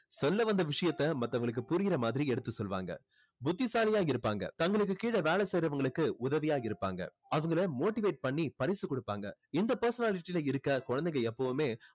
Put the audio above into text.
சொல்ல வந்த விஷயத்தை மத்தவங்களுக்கு புரியுற மாதிரி எடுத்து சொல்லுவாங்க புத்திசாலியா இருப்பாங்க தங்களுக்கு கீழ வேலை செய்றவங்களுக்கு உதவியா இருப்பாங்க அவங்களை motivate பண்ணி பரிசு குடுப்பாங்க இந்த personality ல இருக்குற குழந்தைங்க எப்போவுமே